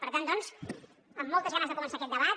per tant doncs amb moltes ganes de començar aquest debat